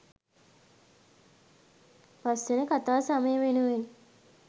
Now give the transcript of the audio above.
පස්වන කතා සමය වෙනුවෙන්